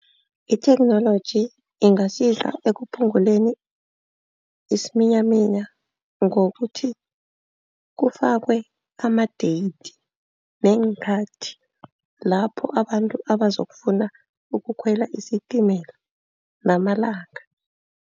Itheknoloji ingasiza ekuphunguleni isiminyaminya. Ngokuthi kufakwe ama-date neenkhathi lapho abantu abazokufuna ukukhwela isitimela namalanga.